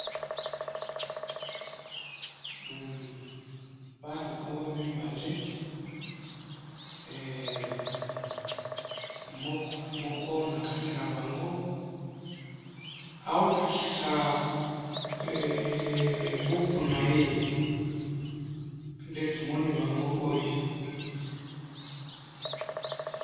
humhum bana oyo mibale heeee moko moko na bango mibale aho lakisa heee buku naye nde tomoni oyo.